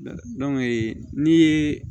n'i ye